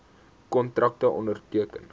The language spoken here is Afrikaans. kontrakte onderteken